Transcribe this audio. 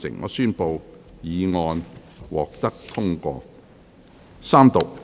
我宣布議案獲得通過。